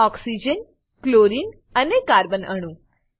oxygen chlorine અને carbon અણુ